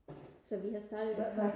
så vi har startet